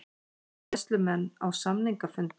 Bræðslumenn á samningafundi